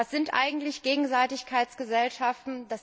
Was sind eigentlich Gegenseitigkeitsgesellschaften?